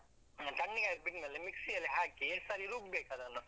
ತಣ್ಣಗಾಗ್ಲಿಕ್ಕೆ ಬಿಟ್ಮೇಲೆ mixie ಅಲ್ಲಿ ಹಾಕಿ, ಸರಿ ರುಬ್ಬೇಕು ಅದನ್ನು.